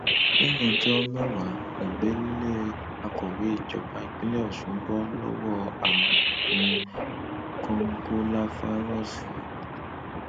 lẹyìn ọjọ mẹwàá nìgbélé akọwé ìjọba ìpínlẹ ọsùn bọ lọwọ àrùn kòǹgóláfàírọọsì